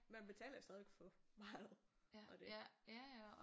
Man betaler jo stadigvæk for meget og det